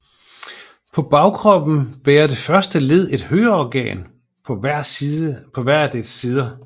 På bagkroppen bærer det første led et høreorgan på hver af dets sider